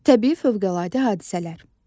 Təbii fövqəladə hadisələr.